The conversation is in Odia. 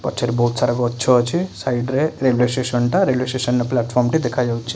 ପଛରେ ବହୁତ ସାରା ଗଛ ଅଛି ସାଇଡ ରେ railway station railway station platform ଦେଖା ଯାଉଛି।